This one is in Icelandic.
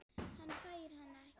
Hann fær hana ekki neitt!